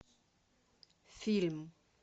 фильм